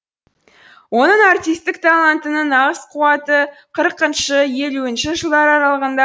оның артистік талантының нағыз қуаты қырықыншы елуінші жылдар аралығында